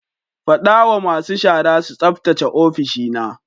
Fada wa masu shara su tsaftace ofishina.